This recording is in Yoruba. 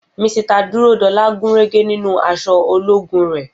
Misita Dúródolá gúnrégé nínú aṣọ ológun rè